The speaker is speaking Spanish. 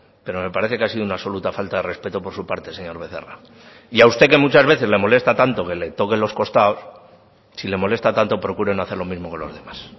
pero me parece que ha sido una absoluta falta de respeto por su parte señor becerra y a usted que muchas veces le molesta tanto que le toquen los costados si le molesta tanto procure no hacer lo mismo con los demás